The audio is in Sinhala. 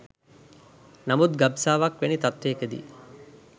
නමුත් ගබ්සාවක් වැනි තත්ත්වයක දී